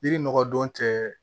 Yiri nɔgɔ don tɛ